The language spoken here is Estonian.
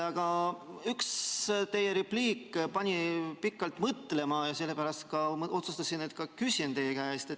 Aga üks teie repliik pani pikalt mõtlema ja sellepärast ma otsustasin, et küsin teie käest.